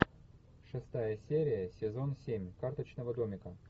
шестая серия сезон семь карточного домика